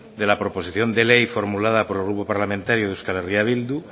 de la proposición de ley formulada por el grupo parlamentario de euskal herria bildu